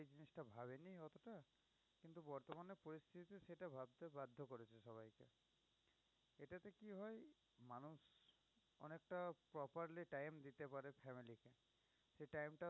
একটা properly time দিতে পারে family কে। সে time টা